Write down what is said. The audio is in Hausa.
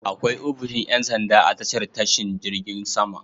Akwai ofishin ƴansanda a tashar tashin jirgin sama.